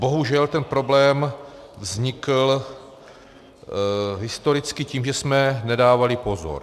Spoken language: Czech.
Bohužel ten problém vznikl historicky tím, že jsme nedávali pozor.